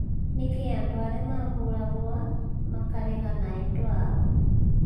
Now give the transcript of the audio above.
Nĩkĩĩ andu arĩa mabũragwo makeraga na endwa ao?